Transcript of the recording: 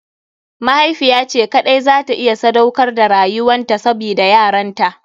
Mahaifiya ce kaɗai za ta iya sadaukar da rayuwan ta sabida yaranta.